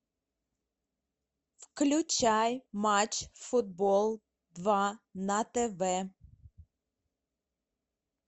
включай матч футбол два на тв